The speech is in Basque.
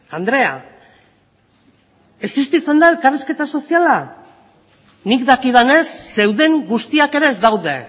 andrea existitzen da elkarrizketa soziala nik dakidanez zeuden guztiak ere ez daude